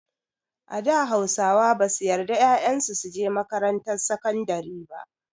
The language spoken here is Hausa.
A da Hausawa basu yarda ƴaƴan su su je makarantar sakandari.